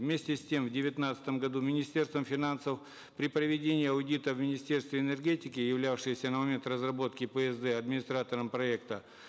вместе с тем в девятнадцатом году министерством финансов при проведении аудита в министерстве энергетики являвшегося на момент разработки псд администратором проекта